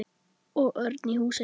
Og Örn í Húsey.